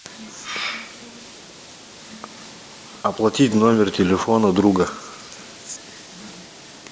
оплатить номер телефона друга